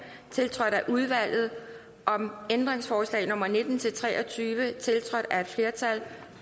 tiltrådt af udvalget om ændringsforslag nummer nitten til tre og tyve tiltrådt af et flertal